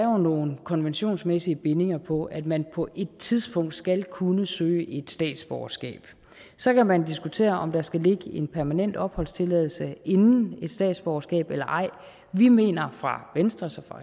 nogle konventionsmæssige bindinger på at man på et tidspunkt skal kunne søge et statsborgerskab så kan man diskutere om der skal ligge en permanent opholdstilladelse inden et statsborgerskab eller ej og vi mener fra venstres og